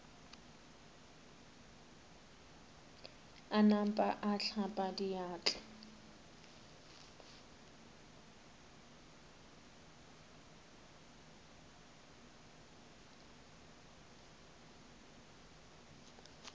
a napa a hlapa diatla